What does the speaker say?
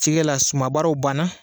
Cikɛ la, sumabaara banna!